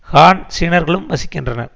ஹான் சீனர்களும் வசிக்கின்றனர்